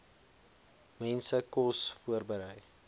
mense kos voorberei